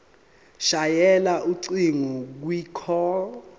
shayela ucingo kwicall